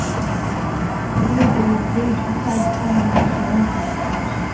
wey go replace visa requirements for all visitors